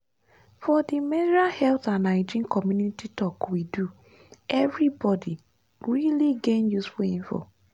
for the menstrual health and hygiene community talk we do everybody really gain useful info.